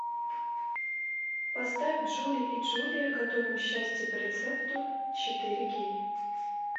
поставь джули и джулия готовим счастье по рецепту четыре кей